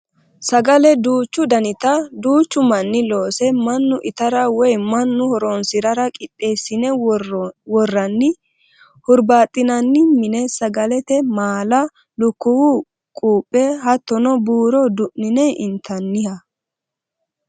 Sagale duuchu danitta duuchu manni loose mannu itara woyi mannu horonsirara qixeessine woranni hurbaxinanni mine saadate maala ,lukkuwu quphe hattono buuro du'nine intaniha.